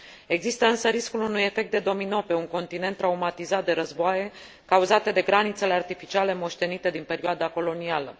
Există însă riscul unui efect de domino pe un continent traumatizat de războaie cauzate de granițele artificiale moștenite din perioada colonială.